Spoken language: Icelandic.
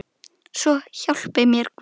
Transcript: Svo hjálpi mér Guð.